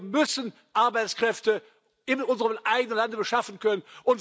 Wir müssen Arbeitskräfte in unserem eigenen Land beschaffen können.